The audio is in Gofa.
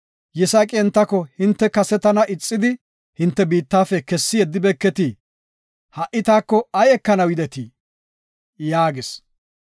Yisaaqi entako, “Hinte kase tana ixidi, hinte biittafe kessi yeddibeeketii? Ha7i taako ay ekanaw yidetii?” yaagis.